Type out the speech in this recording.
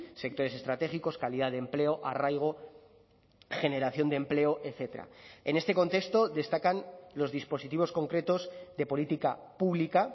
sectores estratégicos calidad de empleo arraigo generación de empleo etcétera en este contexto destacan los dispositivos concretos de política pública